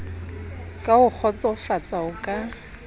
ka ho kgotsofatsa o ka